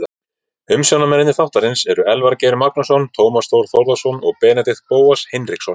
Umsjónarmenn þáttarins eru Elvar Geir Magnússon, Tómas Þór Þórðarson og Benedikt Bóas Hinriksson.